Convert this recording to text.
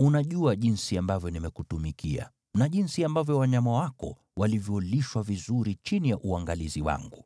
“Unajua jinsi ambavyo nimekutumikia na jinsi ambavyo wanyama wako walivyolishwa vizuri chini ya uangalizi wangu.